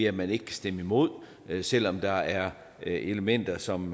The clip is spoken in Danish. at man ikke kan stemme imod selv om der er elementer som